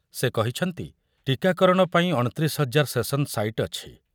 ସେ କହିଛନ୍ତି, ଟୀକାକରଣ ପାଇଁ ଅଣତିରିଶ ହଜାର ସେସନ ସାଇଟ ଅଛି।